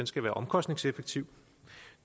skal være omkostningseffektiv